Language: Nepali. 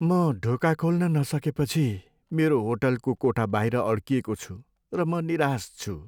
म ढोका खोल्न नसकेपछि मेरो होटलको कोठा बाहिर अड्किएको छु र म निराश छु।